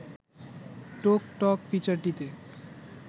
টোক টক ফিচারটিতে